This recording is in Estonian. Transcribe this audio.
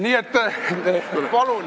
Nii et palun!